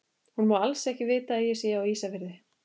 Hún má alls ekki vita að ég sé á Ísafirði!